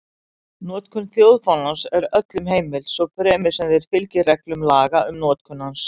Notkun þjóðfánans er öllum heimil, svo fremi þeir fylgi reglum laga um notkun hans.